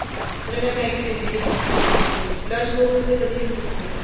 ਪਰ ਮੈਂ Maggie ਦਿੰਦੀ ਨੀ ਬਣਾਕੇ ਬਿਲਕੁੱਲ ਵੀ lunch box ਚ ਤਾਂ ਕਦੇ ਵੀ ਨਹੀਂ ਦਿੱਤੀ ਇਹਨੂੰ